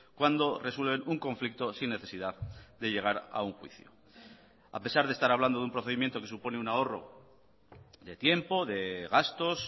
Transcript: cuando resuelven un conflicto sin necesidad de llegar a un juicio a pesar de estar hablando de un procedimiento que supone un ahorro de tiempo de gastos